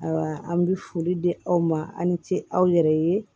Ayiwa an bi foli di aw ma aw ni ce aw yɛrɛ ye